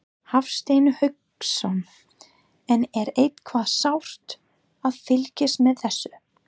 Hafsteinn Hauksson: En er eitthvað sárt að fylgjast með þessu?